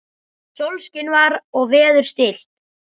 Sólskin var og veður stillt.